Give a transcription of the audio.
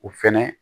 O fɛnɛ